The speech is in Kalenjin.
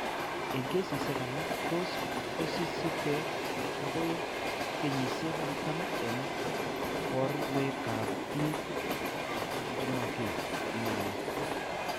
Eng keesisiek alak tos' kosisike akoi kenyisiek 40 eng' borwekap biik komaki nai.